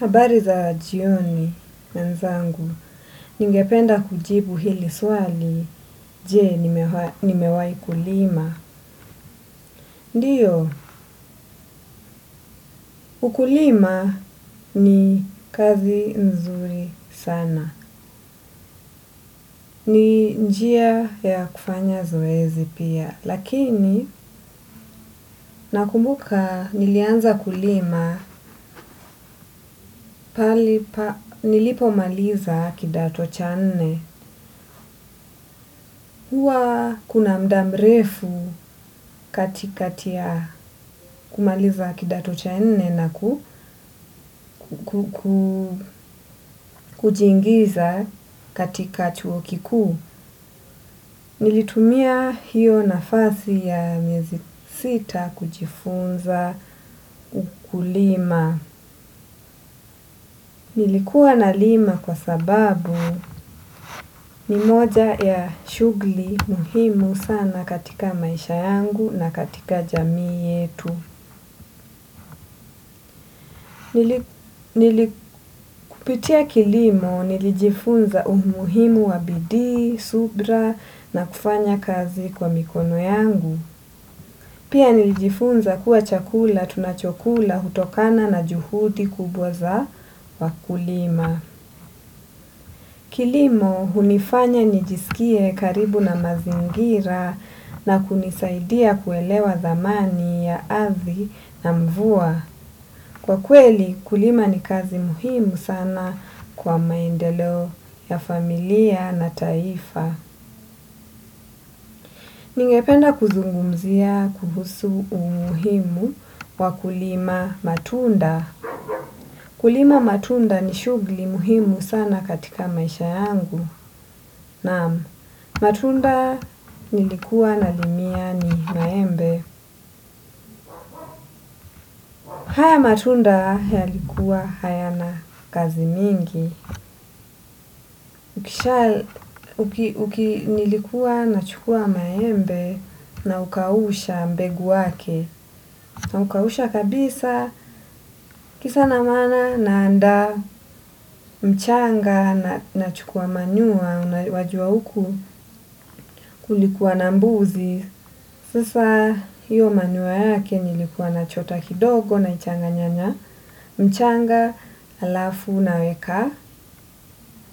Habari za jioni mwenzangu, ningependa kujibu hili swali, je nimewai kulima. Ndiyo, ukulima ni kazi nzuri sana. Ni njia ya kufanya zoezi pia. Lakini, nakumbuka nilianza kulima, pale nilipo maliza kidato cha nne. Huwa kuna muda mrefu katikati ya kumaliza kidato cha nne na kujiingiza katika chuo kikuu. Nilitumia hiyo nafasi ya miezi sita kujifunza ukulima. Nilikuwa nalima kwa sababu ni moja ya shugli muhimu sana katika maisha yangu na katika jamii yetu. Nili kupitia kilimo nilijifunza umuhimu wa bidii, subra na kufanya kazi kwa mikono yangu. Pia nilijifunza kuwa chakula tunachokula hutokana na juhudi kubwa za wakulima. Kilimo hunifanya nijisikie karibu na mazingira na kunisaidia kuelewa dhamani ya ardhi na mvua. Kwa kweli, kulima ni kazi muhimu sana kwa maendeleo ya familia na taifa. Ningependa kuzungumzia kuhusu umuhimu wa kulima matunda. Kulima matunda ni shugli muhimu sana katika maisha yangu. Naam, matunda nilikuwa na limia ni maembe. Haya matunda yalikuwa hayana kazi mingi. Kisha uki nilikuwa na chukua maembe naukausha mbegu wake na ukausha kabisa kisa na maana naandaa mchanga nachukua manyua wajua uku kulikuwa na mbuzi. Sasa hiyo manyua yake nilikuwa nachota kidogo na changa nyanya. Mchanga alafu naweka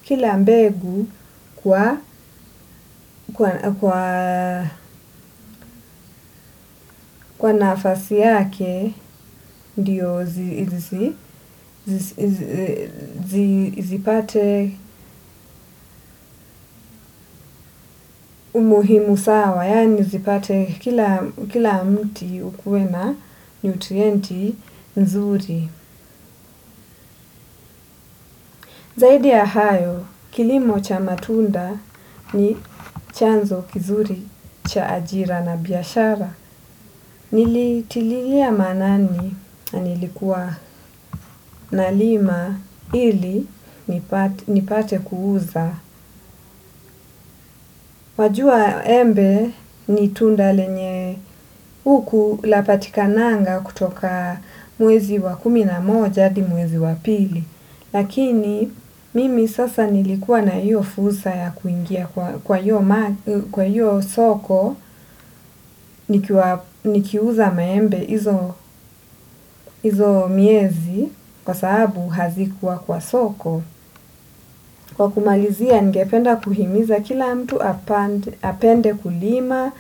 kila mbegu kwa nafasi yake ndio zipate umuhimu sawa yani zipate kila mti ukue na nutrienti nzuri zaidi ya hayo kilimo cha matunda ni chanzo kizuri cha ajira na biashara. Nilitililia maanani na nilikuwa nalima ili nipate kuuza. Wajua embe ni tunda lenye huku lapatikananga kutoka mwezi wa kumi na moja hadi mwezi wa pili. Lakini mimi sasa nilikuwa na hiyo fursa ya kuingia kwa hiyo soko. Nikiuza maembe izo miezi kwa sababu hazikuwa kwa soko. Kwa kumalizia ningependa kuhimiza kila mtu apende kulima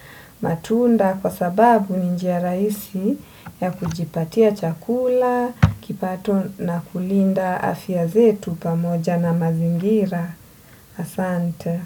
matunda kwa sababu ni njia raisi ya kujipatia chakula. Kipato na kulinda afya zetu pamoja na mazingira. Asante.